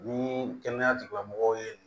Ni kɛnɛya tigilamɔgɔw ye